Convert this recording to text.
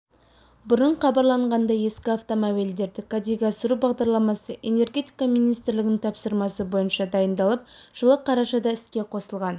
бұрын хабарланғандай ескі автомобильдерді кәдеге асыру бағдарламасы энергетика министрлігінің тапсырмасы бойынша дайындалып жылы қарашада іске қосылған